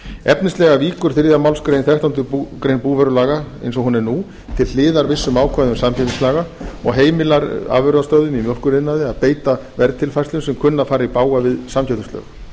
efnislega víkur þriðju málsgrein þrettándu greinar búvörulaga eins og hún er nú til hliðar vissum ákvæðum samkeppnislaga og heimilar afurðastöðvum í mjólkuriðnaði að beita verðtilfærslum sem kunna að fara í bága við samkeppnislög